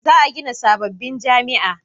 za a gina sabobbin jami'a